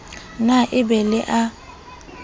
na e be le a